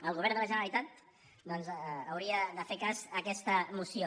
el govern de la ge·neralitat doncs hauria de fer cas a aquesta moció